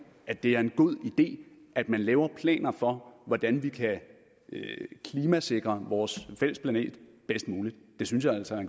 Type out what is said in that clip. at det er en god idé at man laver planer for hvordan vi kan klimasikre vores fælles planet bedst muligt det synes jeg altså er